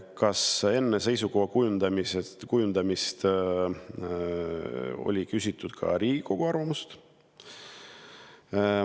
Kas enne seisukoha kujundamist küsiti ka Riigikogu arvamust?